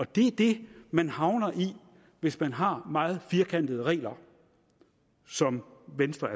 det er det man havner i hvis man har meget firkantede regler som venstre